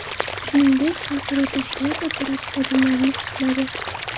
Shuningdek, xalqaro tashkilot apparati xodimlarini qutladi.